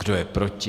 Kdo je proti?